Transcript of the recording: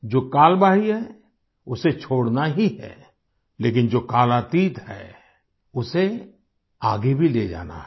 जो कालबाह्यी है उसे छोड़ना ही है लेकिन जो कालातीत है उसे आगे भी ले जाना है